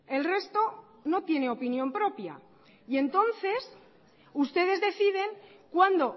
el resto no tiene opinión propia y entonces ustedes deciden cuándo